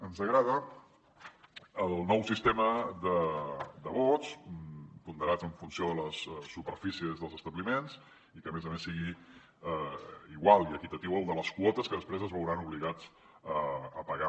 ens agrada el nou sistema de vots ponderats en funció de les superfícies dels establiments i que a més a més sigui igual i equitatiu al de les quotes que després es veuran obligats a pagar